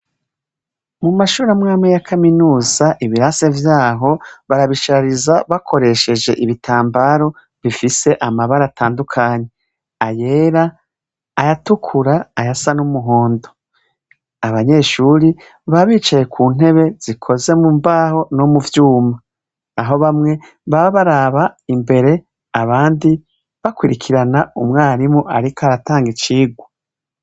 Mu mashure amwamwe ya kaminuza ibirase vyaho barabishariza bakoresheje ibitambaro bifise amabara atandukanye, ayera, ayatukura, ayasa n'umuhondo, abanyeshuri baba bicaye ku ntebe zikoze mu mbaho no mu vyuma, aho bamwe baba baraba imbere abandi bakurikirana umwarimu ariko aratanga icigwa.